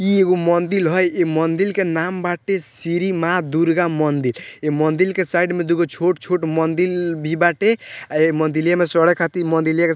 इ एगो मंदिर हाई | इ मंदिर के नाम बाटे श्री माँ दुर्गा मंदिर | इ मंदिर के साइड में दूगो छोट छोट मंदिर भी बाटे | अ ए मंदीलिया में चढ़े खातिर मंदीलिया के --